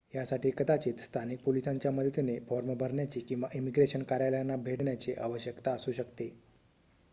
यासाठी कदाचित स्थानिक पोलिसांच्या मदतीने फॉर्म भरण्याची किंवा इमीग्रेशन कार्यालयांना भेट देण्याची आवश्यकता असू शकते